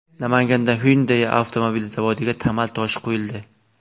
Namanganda Hyundai avtomobil zavodiga tamal toshi qo‘yildi .